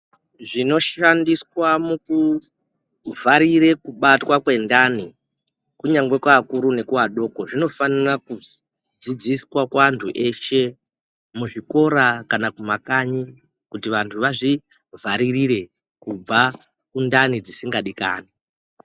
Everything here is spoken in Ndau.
Zvinoshandiswa mukuvharire kubatwa kwendani kunyangwe kuakuru nekuadoko zvinofana kudzidziswa kuanthu eshe muzvikora kana kumakanyi kuti vanthu vazvivharirire kubva kundani dzisingadikani.